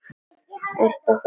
Eruð þið að fara strax?